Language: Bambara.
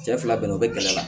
Cɛ fila bɛnna o bɛ gɛlɛ la